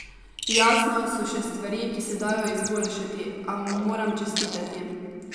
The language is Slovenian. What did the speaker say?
Jasno, so še stvari, ki se dajo izboljšati, a mu moram čestitati.